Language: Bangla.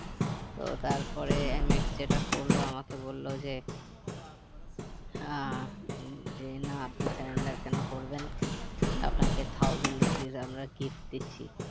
তো তারপরে MX যেটা করলো আমাকে বললো যে হম যে না আপনি cylinder কেন করবেন আপনাকে thousand rupees আমরা gift দিচ্ছি